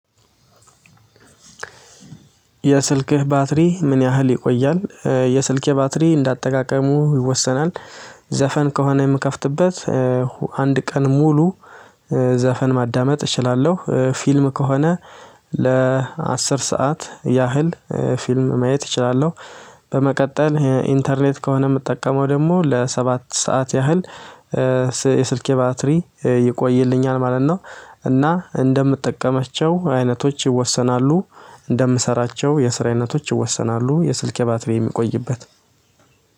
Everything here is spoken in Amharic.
የስልከ ባትሪ ምን ያህል ይቆያል? የስልከ ባትሪ እንደ አጠቃቀሙ ይወሰናል። ዘፈን ከሆነ የምከፍትበት አንድ ቀን ሙሉ። ዘፈን ማዳመጥ እችላለሁ ፊልም ከሆነ። ለአስር ሰዓት ያህል ፊልም ማየት እችላለሁ። በመቀጠል ኢንተርኔት ከሆነ የምጠቀመው ደግሞ ለሰባት ሰዓት ያህል። የስልኬ ባትሪ ይቆይልኛል ማለት ነው። እና እንደምትጠቀመቸው አይነቶች ይወሰናሉ። እንደሚሰራቸው የስራ አይነቶች ይወሰናሉ የስልኬ ባትሪ የሚቆይበት።